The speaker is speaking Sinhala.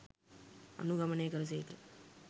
අනුගමනය කළ සේක.